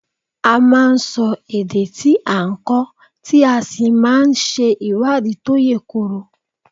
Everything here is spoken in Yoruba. A máa ń sọ èdè tí a ń kọ́ tí a sì máa ń ṣe ìwádìí tó yè koro.